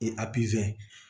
I a peze